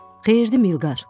Xeyirdi İlqar.